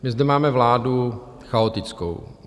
My zde máme vládu chaotickou.